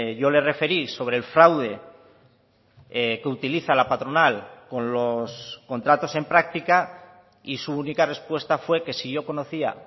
yo le referí sobre el fraude que utiliza la patronal con los contratos en práctica y su única respuesta fue que si yo conocía